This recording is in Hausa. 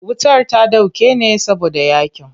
Wutar ta dauke ne saboda yaƙin.